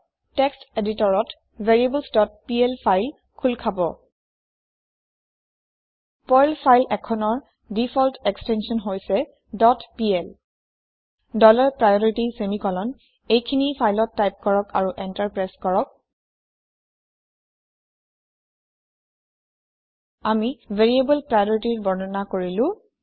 text এদিটৰত variablesপিএল file খুল খাব পাৰ্ল ফাইল এখনৰ দিফল্ত এক্সটেন্চন হৈছে dot PL dollar priority semicolon এইখিনি ফাইলত টাইপ কৰক আৰু এন্টাৰ প্ৰেছ কৰক আমি ভেৰিয়েবল priorityৰ বৰ্ণনা কৰিলো